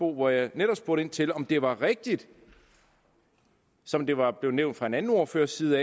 hvor jeg netop spurgte ind til om det var rigtigt som det var blevet nævnt fra en anden ordførers side